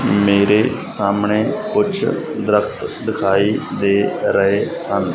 ਮੇਰੇ ਸਾਹਮਣੇ ਕੁਝ ਦਰਖਤ ਦਿਖਾਈ ਦੇ ਰਹੇ ਹਨ।